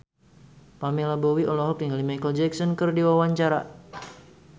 Pamela Bowie olohok ningali Micheal Jackson keur diwawancara